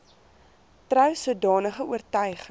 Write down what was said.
trou sodanige oortuiging